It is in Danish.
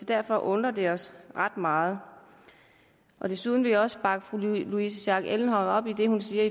derfor undrer det os ret meget desuden vil jeg også bakke fru louise schack elholm op i det hun siger